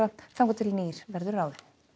þangað til nýr verður ráðinn